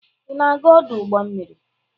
Ị na-aga ọdụ ụgbọ mmiri?